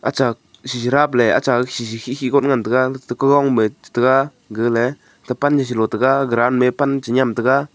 achak shishi rabley acha khikhi khigot ngan taiga tekekong maid taiga gale tepan selo taiga ground me pan senyem taiga.